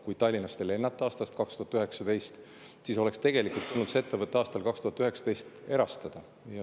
Kui Tallinnast enam ei lennatud aastast 2019, siis oleks tegelikult tulnud see ettevõte aastal 2019 erastada.